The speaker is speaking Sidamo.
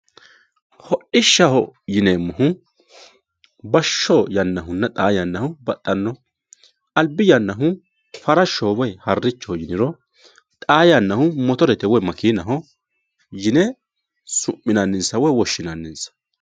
hodhishshaho yineemmohu bashsho yannahunna xaa yannahu baxxanno albi yannahu farashshoho woyi harrichoho yiniro xaa yannahu motorete woyi makeenaho yine su'minanninsa woye woshshinanninsa